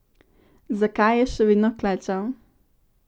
Zakaj je še vedno klečal?